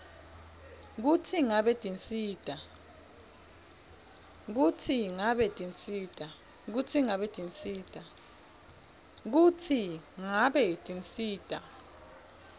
kutsi ngabe tinsita